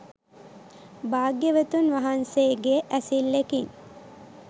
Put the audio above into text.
භාග්‍යවතුන් වහන්සේගේ ඇසිල්ලෙකින්